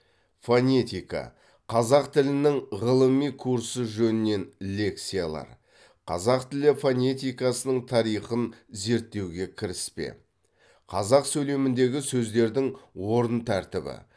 фонетика қазақ тілінің ғылыми курсы жөнінен лекциялар қазақ тілі фонетикасының тарихын зерттеуге кіріспе қазақ сөйлеміндегі сөздердің орын тәртібі